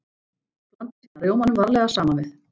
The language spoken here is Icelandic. Blandið síðan rjómanum varlega saman við.